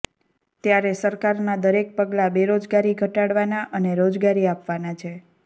ત્યારે સરકાર ના દરેક પગલાં બેરોજગારી ઘટાડવા નાં અને રોજગારી આપવાના છે